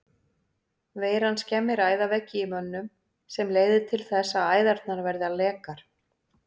Veiran skemmir æðaveggi í mönnum sem leiðir þess að æðarnar verða lekar.